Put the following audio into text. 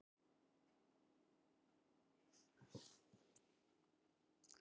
Hann var ekki eini vestur-íslenski hermaðurinn sem lést af völdum stríðsins svo ungur að árum.